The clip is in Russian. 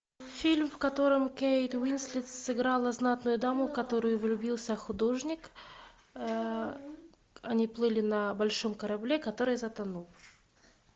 фильм в котором кейт уинслет сыграла знатную даму в которую влюбился художник они плыли на большом корабле который затонул